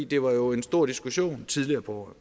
det var jo en stor diskussion tidligere på